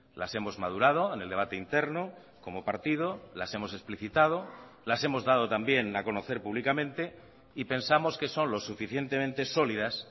las hemos madurado en el debate interno como partido las hemos explicitado las hemos dado también a conocer públicamente y pensamos que son lo suficientemente sólidas